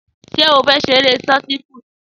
Sé ó fé seré sọti púútu